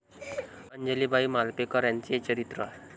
अंजलीबाई मालपेकर यांचे चरित्र